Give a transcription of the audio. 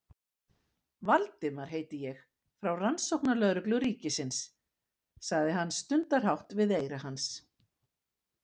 Valdimar heiti ég, frá Rannsóknarlögreglu ríkisins- sagði hann stundarhátt við eyra hans.